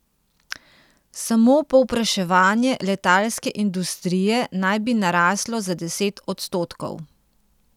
Samo povpraševanje letalske industrije naj bi naraslo za deset odstotkov.